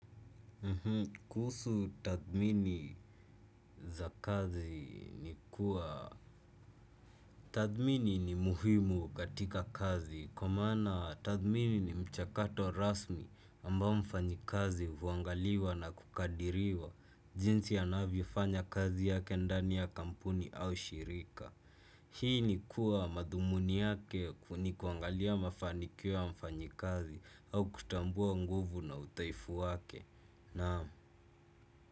Kuhusu tathmini za kazi ni kuwa tathmini ni muhimu katika kazi. Kwa maana tathmini ni mchakato rasmi ambao mfanyikazi huangaliwa na kukadiriwa. Jinsi anavyofanya kazi yake ndani ya kampuni au shirika. Hii ni kuwa madhumuni yake kuu ni kuangalia mafanikio ya mfanyikazi. Au kutambua nguvu na udhaifu wake. Naam.